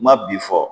Ma bi fɔ